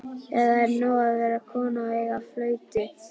Eða er nóg að vera kona og eiga flautu?